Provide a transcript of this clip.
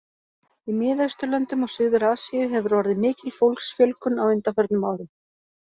Í Miðausturlöndum og Suður-Asíu hefur orðið mikil fólksfjölgun á undanförnum árum.